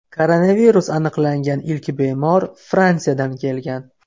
Koronavirus aniqlangan ilk bemor Fransiyadan kelgan.